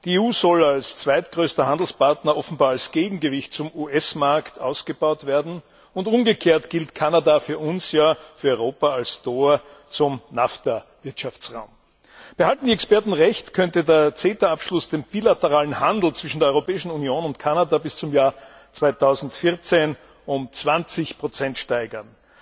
Die EU soll als zweitgrößter Handelspartner offenbar als Gegengewicht zum US Markt ausgebaut werden, und umgekehrt gilt Kanada für Europa als Tor zum NAFTA Wirtschaftsraum. Behalten die Experten Recht, könnte der CETA Abschluss den bilateralen Handel zwischen der Europäischen Union und Kanada bis zum Jahr 2014 um 20 steigern.